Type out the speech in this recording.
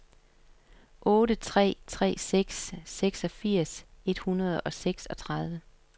otte tre tre seks seksogfirs et hundrede og seksogtredive